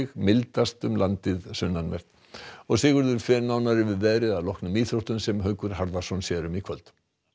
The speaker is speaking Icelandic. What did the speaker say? mildast um landið sunnanvert Sigurður fer nánar yfir veðrið að loknum íþróttum sem Haukur Harðarson sér um í kvöld